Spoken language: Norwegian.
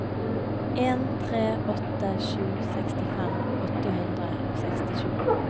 en tre åtte sju sekstifem åtte hundre og sekstisju